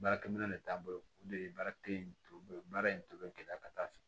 Baarakɛminɛn de t'a bolo o de ye baara kelen in ye baara in to bɛ gɛlɛya ka taa fɛ